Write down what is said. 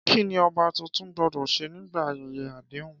Kí ni ọba tuntun gbọ́dọ̀ ṣe nígbà ayẹyẹ àdéhùn?